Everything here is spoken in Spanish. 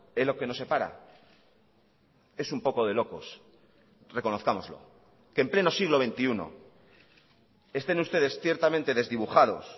en lo que nos separa es un poco de locos reconozcámoslo que en pleno siglo veintiuno estén ustedes ciertamente desdibujados